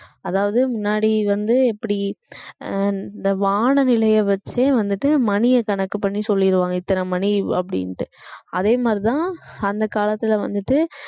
அதாவது முன்னாடி வந்து எப்படி அஹ் இந்த வான நிலையை வச்சே வந்துட்டு மணியை கணக்கு பண்ணி சொல்லிடுவாங்க இத்தனை மணி அப்படின்னுட்டு அதே மாதிரிதான் அந்த காலத்துல வந்துட்டு